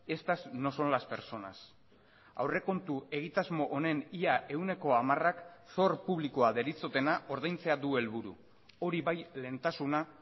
estas no son las personas aurrekontu egitasmo honen ia ehuneko hamarak zor publikoa deritzotena ordaintzea du helburu hori bai lehentasuna